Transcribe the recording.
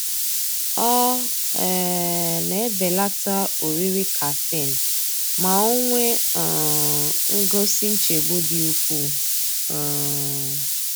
Ọ um na-ebelata oriri caffeine ma o nwee um ngosi nchegbu dị ukwuu. um